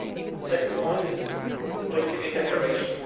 The second point is a political declaration.